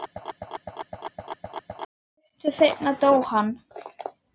Stuttu seinna dó hann.